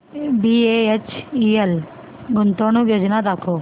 BHEL गुंतवणूक योजना दाखव